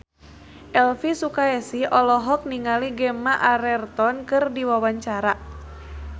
Elvy Sukaesih olohok ningali Gemma Arterton keur diwawancara